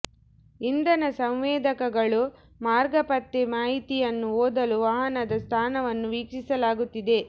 ಇಂಧನ ಸಂವೇದಕಗಳು ಮಾರ್ಗ ಪತ್ತೆ ಮಾಹಿತಿಯನ್ನು ಓದಲು ವಾಹನದ ಸ್ಥಾನವನ್ನು ವೀಕ್ಷಿಸಲಾಗುತ್ತಿದೆ